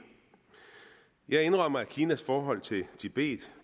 jeg indrømmer at kinas forhold til tibet